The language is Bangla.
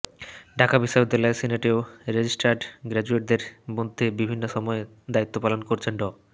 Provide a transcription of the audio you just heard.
ঢাকা বিশ্ববিদ্যালয়ের সিনেটেও রেজিস্ট্রার্ড গ্র্যাজুয়েটদের মধ্যে বিভিন্ন সময়ে দায়িত্বপালন করেছেন ড